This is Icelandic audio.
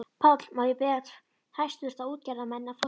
PÁLL: Má ég biðja hæstvirta útgerðarmenn að fá sér sæti.